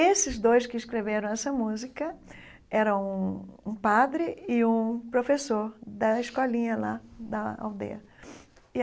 Esses dois que escreveram essa música eram um um padre e um professor da escolinha lá da aldeia.